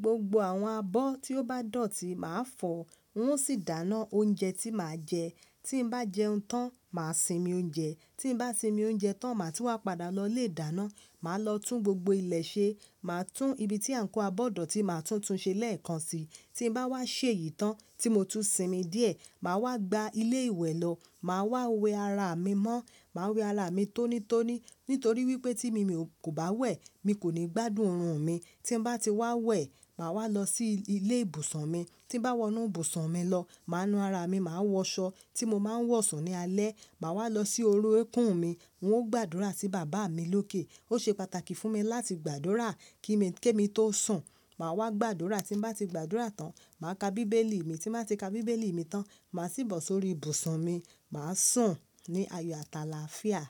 gbogbo àwọn abọ́ tí ó bá dọ̀tí màá fọ̀, wọn ó sì dáná oúnjẹ tí màá jẹ. Tí bá jẹun tán, màá sinmi oúnjẹ. Tí bá sinmi oúnjẹ tán, màá ti wá padà lọ ilé ìdáná, màá lọ tún gbogbo ilẹ̀ ṣe. Màá tún ibi tí àǹkóò abọ́ dọ̀tí màá tún tun ṣe lẹ́ẹ̀kan si. Tí bá wá ṣe èyí tán tí mo tún sinmi díẹ̀, màá wá gba ilé ìwẹ̀ lọ. Màá wá wẹ ara mi mọ́. Màá wẹ ara mi tónítóní nítorí wípé tí mi kò bá wẹ̀, mi kò ní gbádùn oorun mi. Tí bá ti wá wẹ̀, màá wá lọ sí ilé ìbùsùn mi. Tí bá wọnú ìbùsùn mi lọ, màá nu ara mi, màá wọṣọ tí mo máa ń wọ̀sun ní alẹ́. Màá wá lọ sí ori ẹ̀kún mi. N ó gbàdúrà sí bàbá mi lókè. Ó ṣe pàtàkì fún mi láti gbàdúrà kí èmi tó sùn. Màá wá gbàdúrà tí bá ti gbàdúrà tán, màá ka bíbélì mi. Tí màá ti ka bíbélì mi tán, màá sì bọ̀ sórí ìbùsùn mi. Màá sùn ní ayo ati àlàáfíà.